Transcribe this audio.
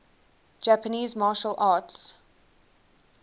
japanese martial arts